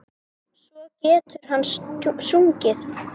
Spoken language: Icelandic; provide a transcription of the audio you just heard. Svo getur hann sungið.